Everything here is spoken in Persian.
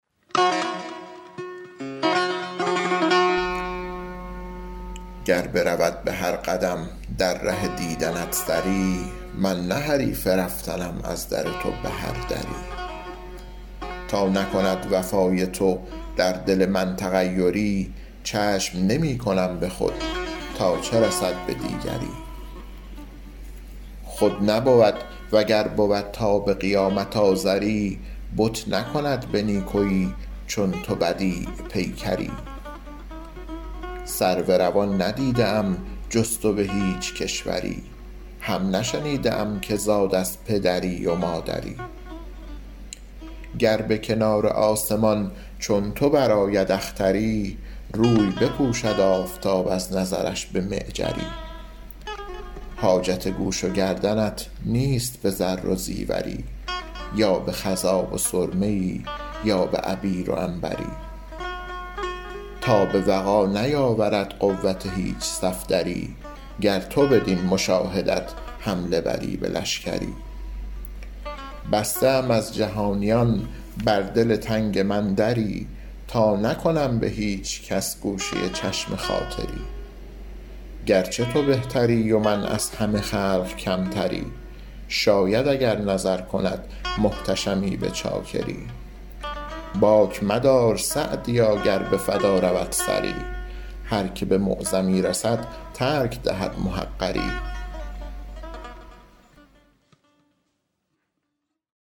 گر برود به هر قدم در ره دیدنت سری من نه حریف رفتنم از در تو به هر دری تا نکند وفای تو در دل من تغیری چشم نمی کنم به خود تا چه رسد به دیگری خود نبود و گر بود تا به قیامت آزری بت نکند به نیکویی چون تو بدیع پیکری سرو روان ندیده ام جز تو به هیچ کشوری هم نشنیده ام که زاد از پدری و مادری گر به کنار آسمان چون تو برآید اختری روی بپوشد آفتاب از نظرش به معجری حاجت گوش و گردنت نیست به زر و زیوری یا به خضاب و سرمه ای یا به عبیر و عنبری تاب وغا نیاورد قوت هیچ صفدری گر تو بدین مشاهدت حمله بری به لشکری بسته ام از جهانیان بر دل تنگ من دری تا نکنم به هیچ کس گوشه چشم خاطری گرچه تو بهتری و من از همه خلق کمتری شاید اگر نظر کند محتشمی به چاکری باک مدار سعدیا گر به فدا رود سری هر که به معظمی رسد ترک دهد محقری